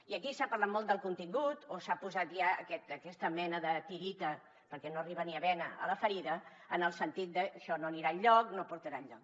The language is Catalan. i aquí s’ha parlat molt del contingut o s’ha posat ja aquesta mena de tireta perquè no arriba ni a bena a la ferida en el sentit d’ això no anirà enlloc no portarà enlloc